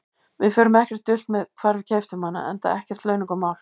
Við fórum ekkert dult með hvar við keyptum hana, enda ekkert launungarmál.